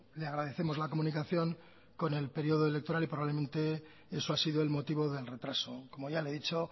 le agradecemos la comunicación con el periodo electoral y probablemente eso ha sido el motivo del retraso como ya le he dicho